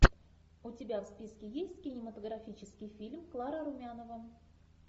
у тебя в списке есть кинематографический фильм клара румянова